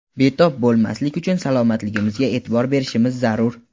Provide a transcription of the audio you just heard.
betob bo‘lmaslik uchun salomatligimizga e’tibor berishimiz zarur.